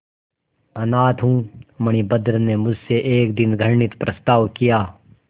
अनाथ हूँ मणिभद्र ने मुझसे एक दिन घृणित प्रस्ताव किया